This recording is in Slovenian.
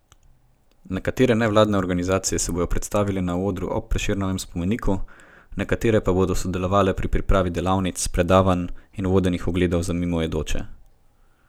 Nekatere nevladne organizacije se bodo predstavile na odru ob Prešernovem spomeniku, nekatere pa bodo sodelovale pri pripravi delavnic, predavanj in vodenih ogledov za mimoidoče.